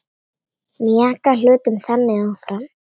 Mjaka hlutum þannig áfram.